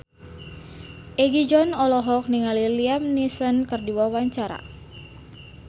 Egi John olohok ningali Liam Neeson keur diwawancara